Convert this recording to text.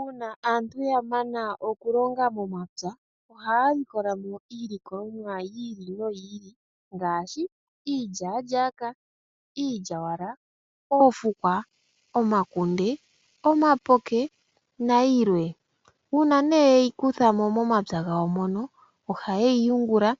Uuna aantu ya mana okulonga momapya oha ya likolamo iilikolomwa yi ili no yi ili ngaashi iilyaalyaaka , iilyawala, oofukwa omakunde, omapoke nayilwe. Uuna nee ye yi kutha mo momapya gawo mono oha ye yi yungula